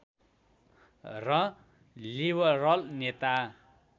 र लिबरल नेता